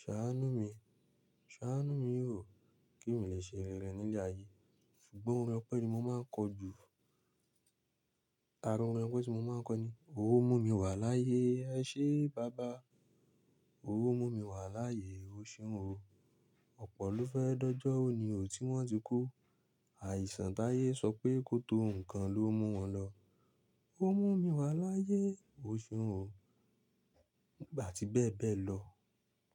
ṣàánú mi, ṣàánú mi o, kí n lè ṣerere ní ilé ayé. Ṣùgbọ́n ọ̀yànpẹ́ ni mo máa ń kọ jù. Ara ọ̀rin ope tí mo máa ń kọ ni, o mu mi wà láàyè, ẹ ṣé baba. O mu mi wà láàyè, o ṣeun o. Ọ̀pọ̀ ló fẹ́ dọjọ ó ni ò tí wọ́n ti kú. Àìsàn táyé sọ pé kòtò ǹn ló mú wọn lọ. O mu mi wà láàyè, o ṣeun o. Nígbà tí bẹ́ẹ̀ bẹ́ẹ̀ lọ.